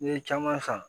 N'i ye caman san